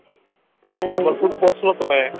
ସମ୍ବଲପୁର ରୁ ବାସିଲ ତୁମେ